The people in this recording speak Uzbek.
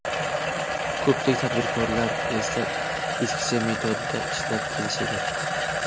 Ko‘pchilik tadbirkorlar esa eskicha metodda ishlab kelishidir.